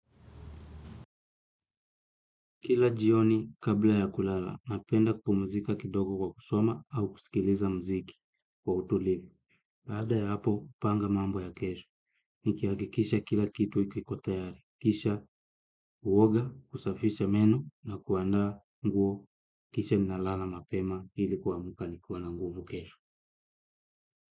Kila jioni kabla ya kulala, napenda kupumuzika kidogo kwa kusoma au kusikiliza mziki kwa utulivu. Baada ya hapo, upanga mambo ya kesho. Nikiakikisha kila kitu kiko tayari. Kisha, uwoga, kusafisha meno na kuandaa nguo. Kisha ninalala mapema ili kuamka nikiwa na nguvu kesho.